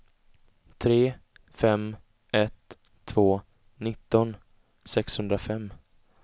tre fem ett två nitton sexhundrafem